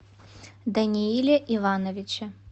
данииле ивановиче